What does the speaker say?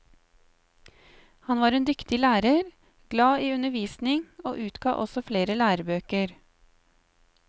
Han var en dyktig lærer, glad i undervisning og utga også flere lærebøker.